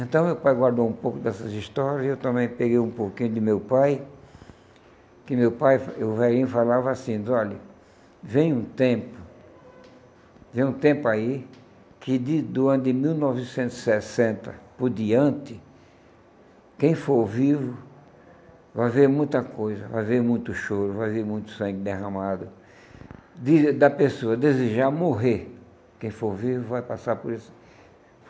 Então meu pai guardou um pouco dessas histórias e eu também peguei um pouquinho de meu pai, que meu pai, o velhinho, falava assim, diz, olha, vem um tempo, vem um tempo aí que de do ano de mil novecentos e sessenta por diante, quem for vivo vai ver muita coisa, vai ver muito choro, vai ver muito sangue derramado, de da pessoa desejar morrer, quem for vivo vai passar por esse.